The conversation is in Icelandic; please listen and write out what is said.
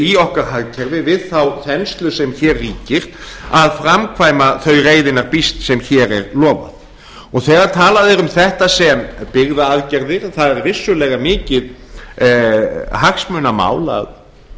í okkar hagkerfi við þá þenslu sem hér ríkir að framkvæma þau reiðinnar býsn sem hér er lofað þegar talað er um þetta sem byggðaaðgerðir það er vissulega mikið hagsmunamál að